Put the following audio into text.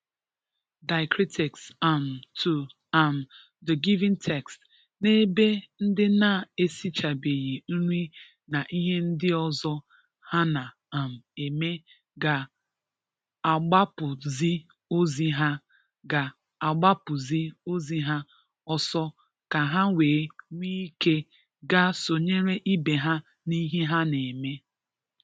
diacritics um to um the given text\nebe ndị na-esichabeghi nri na ihe ndị ọzọ ha na um eme ga-agbapụzị ozi ha ga-agbapụzị ozi ha ọsọ ka ha wee nwee ike ga sonyere ibe ha n’ihe ha na-eme.